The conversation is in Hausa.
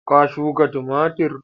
Ka shuka tumatir?